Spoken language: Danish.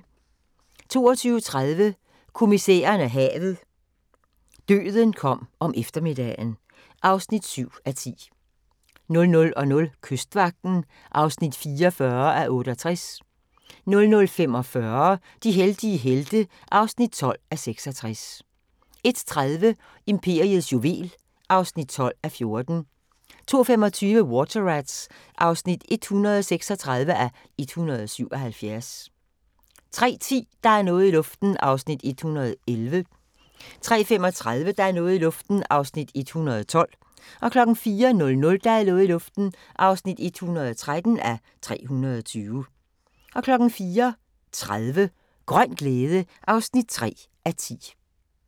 22:30: Kommissæren og havet: Døden kom om eftermiddagen (7:10) 00:00: Kystvagten (44:68) 00:45: De heldige helte (12:66) 01:30: Imperiets juvel (12:14) 02:25: Water Rats (136:177) 03:10: Der er noget i luften (111:320) 03:35: Der er noget i luften (112:320) 04:00: Der er noget i luften (113:320) 04:30: Grøn glæde (3:10)